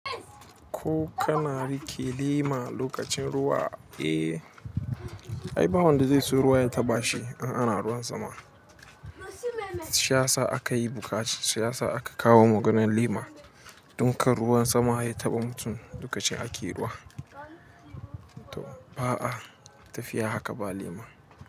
Ko kana riƙe lema lokacin ruwa, eh? Ai, ba wanda zai so ruwa ya taɓa shi in ana ruwan sama. Siyasa aka yi buƙata, siyasa aka kawo maganan lema don kar ruwan sama ya taɓa mutum lokacin ake ruwa. Ba a, tafiya haka ba lema.